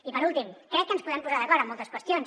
i per últim crec que ens podem posar d’acord en moltes qüestions